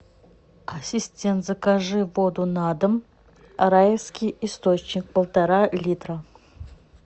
ассистент закажи воду на дом райский источник полтора литра